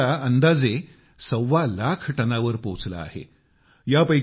आणि वर्षाला अंदाजे सव्वा लाख टनावर पोहचले आहे